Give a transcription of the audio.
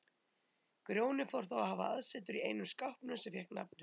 Grjóni fór þá að hafa aðsetur í einum skápnum sem fékk nafnið